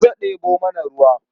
Maza ɗebo mana ruwa.